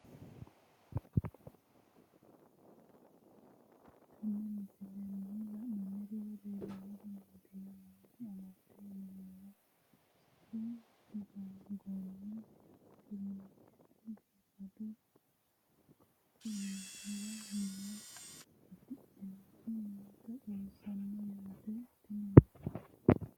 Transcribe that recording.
Tenne misilenni la'nanniri woy leellannori maattiya noori amadde yinummoro sasu goomi kiraanchche biiffaddo kaxinaniwa noo afidhinnoti nootta xawinnisonni yaatte tininno